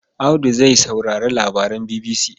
Audu zai saurari labaran BBC.